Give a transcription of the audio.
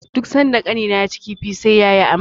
Duk sanda Ƙanina yaci kifi, sai ya yi amai.